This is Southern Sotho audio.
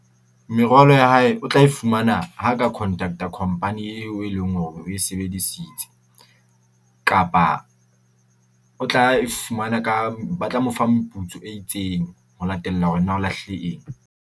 Merwalo ya hae o tla e fumana ha ka contact-a company eo, e leng hore oe sebedisitse, kapa o tla fumana ka ba tla mo fa meputso e itseng ho latella hore na o lahlile eng.